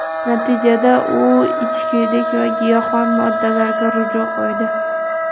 Natijada u ichkilik va giyohvand moddalarga ruju qo‘ydi.